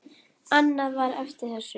Annað var eftir þessu.